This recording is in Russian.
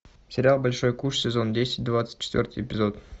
сериал большой куш сезон десять двадцать четвертый эпизод